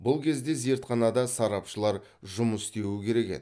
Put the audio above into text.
бұл кезде зертханада сарапшылар жұмыс істеуі керек еді